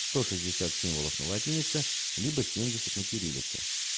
сто шестьдесят символов на латинице либо семьдесят на кириллице